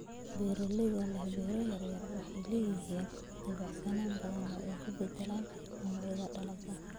Beeralayda leh beero yaryar waxay leeyihiin dabacsanaan badan oo ay ku beddelaan noocyada dalagga